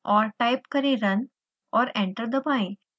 और टाइप करें run और एंटर दबाएं